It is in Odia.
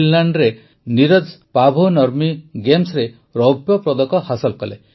ଫିନଲାଣ୍ଡରେ ନୀରଜ ପାଭୋ ନର୍ମି ଗେମ୍ସରେ ରୌପ୍ୟପଦକ ହାସଲ କଲେ